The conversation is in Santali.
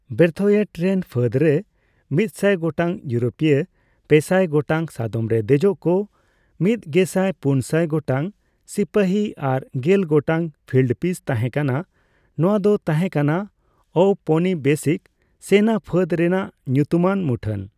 ᱵᱨᱮᱛᱷᱳᱭᱮᱴ ᱨᱮᱱ ᱯᱷᱟᱹᱫ ᱨᱮ ᱢᱤᱛᱥᱟᱭ ᱜᱚᱴᱟᱝ ᱤᱭᱩᱨᱳᱯᱤᱭᱚ, ᱯᱮᱥᱟᱭ ᱜᱚᱴᱟᱝ ᱥᱟᱫᱚᱢ ᱨᱮ ᱫᱮᱡᱚᱜ ᱠᱚ, ᱢᱤᱛᱜᱮᱥᱟᱭ ᱯᱩᱱᱥᱟᱭ ᱜᱚᱴᱟᱝ ᱥᱤᱯᱟᱹᱦᱤ ᱟᱨ ᱜᱮᱞ ᱜᱚᱟᱴᱝ ᱯᱷᱤᱞᱰ ᱯᱤᱥ ᱛᱟᱸᱦᱮ ᱠᱟᱱᱟᱼ ᱱᱚᱣᱟ ᱫᱚ ᱛᱟᱸᱦᱮ ᱠᱟᱱᱟ ᱳᱣᱯᱚᱱᱤᱵᱮᱥᱤᱠ ᱥᱮᱱᱟ ᱯᱷᱟᱹᱫ ᱨᱮᱱᱟᱜ ᱧᱩᱛᱩᱢᱟᱱ ᱢᱩᱴᱷᱟᱹᱱ ᱾